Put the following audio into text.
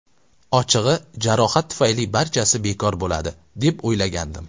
Ochig‘i, jarohat tufayli barchasi bekor bo‘ladi, deb o‘ylagandim”.